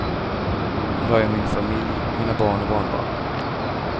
Här har jag min familj, mina barn och barnbarn.